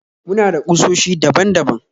Muna da kusoshi daban daban